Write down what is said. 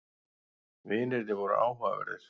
Vinirnir voru áhugaverðir.